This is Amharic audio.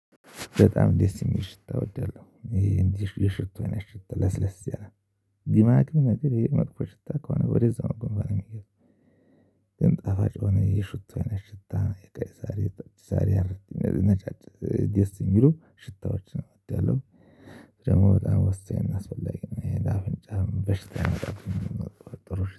በጣም ደስ እሚል ሽታ እወዳለሁ ይሄ እንዲህ የሽቶ አይነት ሽት ለስለስ ያለ ግማግም ነገር የመጥፎ ሽታ ከሆነ ወደዛው ግንባሬን ነው የሚገርም። ግን ጣፋጭ ሆነ የሹታ አይነት ሽታ የቀይ ዛሬ የቀይ ዛሬ ነጫጭ ድስ እሚሉ ሽታዎችን እወዳለሁ። ደግሞ በጣም ወሳኝ አስፈላጊ ነው ይሄ ለአፍንጫም በሽታ የመጣችውን ጥሩ